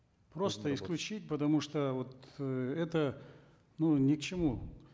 просто исключить потому что вот э это ну ни к чему